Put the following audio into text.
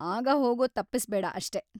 ಆಗ ಹೋಗೋದ್‌ ತಪ್ಪಿಸ್ಬೇಡ‌ ಅಷ್ಟೇ.